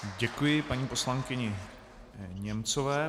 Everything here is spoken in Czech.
Děkuji paní poslankyni Němcové.